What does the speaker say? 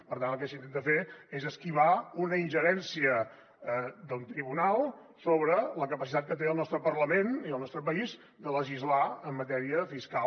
per tant el que s’intenta fer és esquivar una ingerència d’un tribunal sobre la capacitat que té el nostre parlament i el nostre país de legislar en matèria fiscal